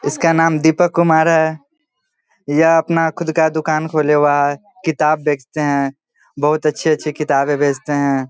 इसका नाम दीपक कुमार है । यह अपना खुदका दुकान खोलेवा किताब बेचते हैं बोहोत अच्छी-अच्छी किताबे बेचते है।